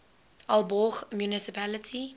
aalborg municipality